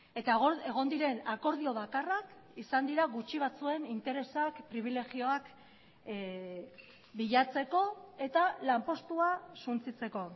eta egon diren akordio bakarrak izan dira gutxi batzuen interesak pribilegioak bilatzeko eta lanpostua suntsitzeko